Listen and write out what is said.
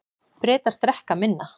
Bretar drekka minna